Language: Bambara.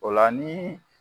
O la ni